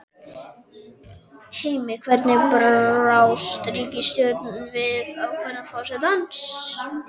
Heimir, hvernig brást ríkisstjórnin við ákvörðun forsetans?